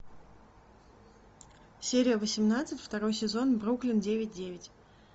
серия восемнадцать второй сезон бруклин девять девять